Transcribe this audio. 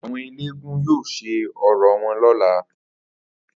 Àwo̩n eléégún yóò s̩e orò wo̩n ló̩la